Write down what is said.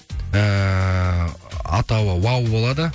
эээ атауы вау болады